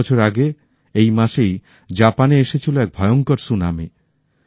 ১০ বছর আগে এই মাসেই জাপানে এসেছিল এক ভয়ংকর সুনামি